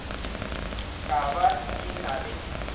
ka ba e na le